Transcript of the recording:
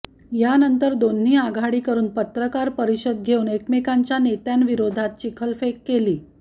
यानंतर दोन्ही आघाडीकडून पत्रकार परिषद घेवून एकमेंकाच्या नेत्यांविरोधात चिखलफेक केली